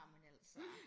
amen altså